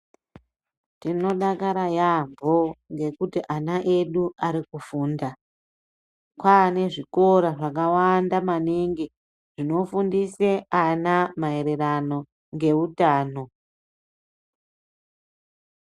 Tinodakara yaampho, ngekuti ana edu ari kufunda. Kwaane zvikora zvakawanda maningi, zvinofundise ana maererano ngeutano.